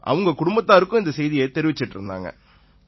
அவங்க குடும்பத்தாருக்கும் இந்தச் செய்தியைத் தெரிவிச்சுட்டு இருந்தாங்க